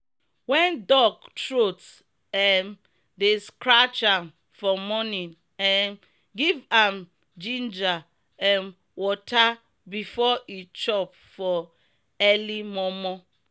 wen duck troat um dey srcratch am for morning um give am giniger um water before e chop for eli mor mor.